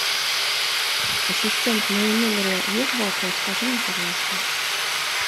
ассистент в моем номере есть балкон скажи мне пожалуйста